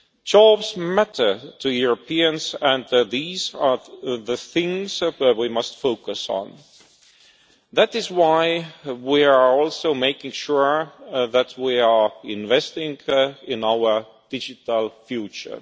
Jobs matter to Europeans, and these are the things that we must focus on. That is why we are also making sure that we are investing in our digital future.